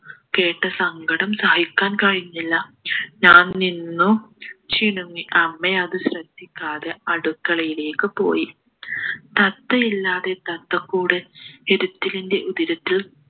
കേട്ട് സങ്കടം സഹിക്കാൻ കഴിഞ്ഞില്ല ഞാൻ നിന്നു ചിണുങ്ങി അമ്മ അത് ശ്രദ്ധിക്കാതെ അടുക്കളയിലേക്ക് പോയി തത്തയില്ലാതെ തത്തക്കൂട് എടുത്തിലിൻ്റെ ഉതിരത്തിൽ